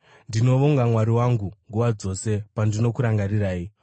Ndinovonga Mwari wangu nguva dzose pandinokurangarirai.